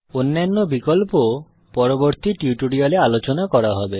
অন্যান্য বিকল্প পরবর্তী টিউটোরিয়ালে আলোচনা করা হবে